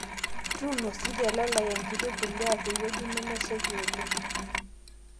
Tuuno sii telalae enkiti mpuliya tewueji nemeshaiki oleng